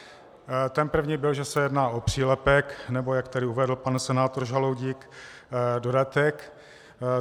Ten první byl, že se jedná o přílepek nebo, jak tady uvedl pan senátor Žaloudík, dodatek.